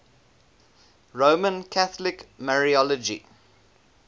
roman catholic mariology